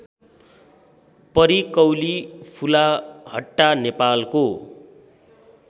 परिकौली फुलाहट्टा नेपालको